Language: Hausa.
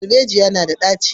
Darbejiya na da ɗaci